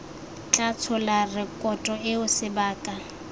tla tshola rekoto eo sebaka